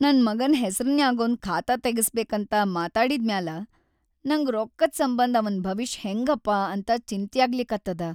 ನನ್‌ ಮಗನ್‌ ಹೆಸ್ರನ್ಯಾಗೊಂದ್‌ ಖಾತಾ ತಗಸ್ಬೇಕಂತ ಮಾತಾಡಿದ್ಮ್ಯಾಲ ನಂಗ ರೊಕ್ಕದ್‌ ಸಂಬಂಧ್ ಅವನ್‌ ಭವಿಷ್‌ ಹೆಂಗಪಾ ಅಂತ ಚಿಂತ್ಯಾಗ್ಲಿಕತ್ತದ.